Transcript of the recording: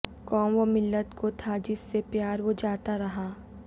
قوم و ملت کو تھا جس سے پیار وہ جاتا رہا